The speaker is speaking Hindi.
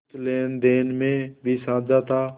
कुछ लेनदेन में भी साझा था